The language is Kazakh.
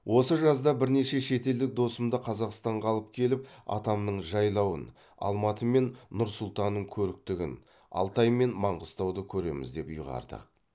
осы жазда бірнеше шетелдік досымды қазақстанға алып келіп атамның жайлауын алматы мен нұр сұлтанның көріктігін алтай мен маңғыстауды көреміз деп ұйғардық